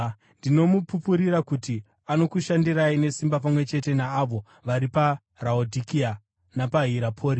Ndinomupupurira kuti anokushandirai nesimba pamwe chete naavo vari paRaodhikea, napaHirapori.